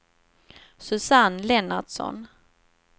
Susanne Lennartsson